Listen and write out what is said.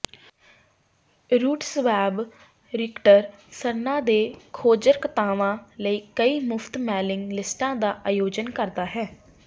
RootsWeb ਰਿਕਟਰ ਸਰਨਾਂ ਦੇ ਖੋਜਕਰਤਾਵਾਂ ਲਈ ਕਈ ਮੁਫਤ ਮੇਲਿੰਗ ਲਿਸਟਾਂ ਦਾ ਆਯੋਜਨ ਕਰਦਾ ਹੈ